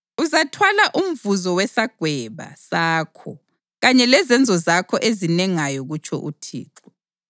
Uzathwala umvuzo wesagweba sakho kanye lezenzo zakho ezinengayo kutsho uThixo.